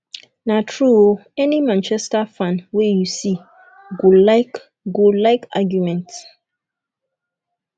na true o any manchester fan wey you see go see go like argument